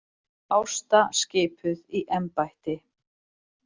Ásta skipuð í embættið